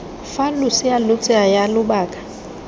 fa losea lo tsaya lobaka